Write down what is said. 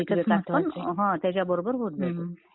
हां.. बौद्धिक विकास पण बरोबर होत जातो हम्म त्याच्या बरोबर होत जातो